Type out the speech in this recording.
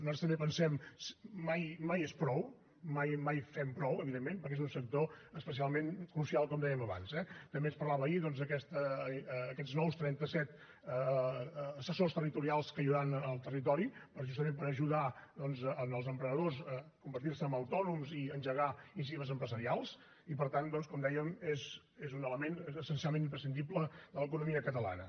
nosaltres també pensem mai és prou mai fem prou evidentment perquè és un sector especialment crucial com dèiem abans eh també ens parlava ahir d’aquests nous trenta set assessors territorials que hi hauran al territori justament per ajudar doncs els emprenedors a convertir se en autònoms i engegar iniciatives empresarials i per tant com dèiem és un element essencialment imprescindible en l’economia catalana